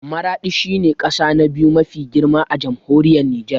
Maraɗi shi ne ƙasa na biyu mafi girma a Jamhuriyar Nijar